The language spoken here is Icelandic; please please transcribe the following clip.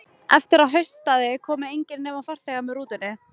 Eftir að haustaði komu engir, nema farþegar með rútunni.